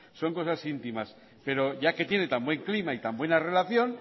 son cosas íntimas pero ya que tiene tan buen clima y tan buena relación